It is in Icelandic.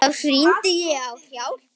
Þá hringdi ég á hjálp.